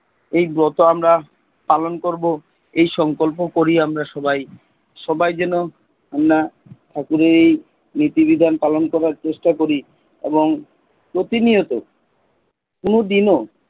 এই ব্রত পালন করবো। এই সংকল্প করি আমরা সবাই, সবাই যেন আমরা ঠাকুরের এই নীতি বিধান পালন করার চেষ্টা করি এবং প্রতিনিয়ত কোন দিনও,